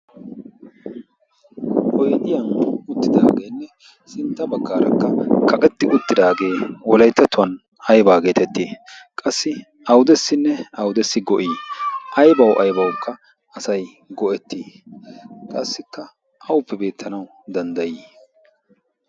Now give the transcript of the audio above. oydiyaan uttidaageenne sintta baggraakka kaqeti uttidaage Wolayttatuwaan aybba getetti? qassi awudessinne awudessi go'i? aybbaw aybbawukka asay go'eti? qassikka awuppe beettanaw dandday?